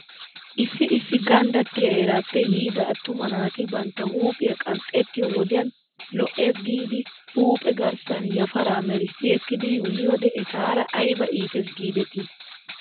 Issi issi ganddattiyaa heeraappe yiida attuma naati bantta huuphphiyaa qanxxettiyoo wodiyan lo'ys giidi huuphe garssan yafaraa merissi ekkidi yuuyoode etaara ayba iittes giidetii?